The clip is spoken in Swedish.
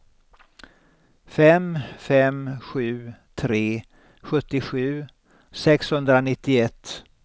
fem fem sju tre sjuttiosju sexhundranittioett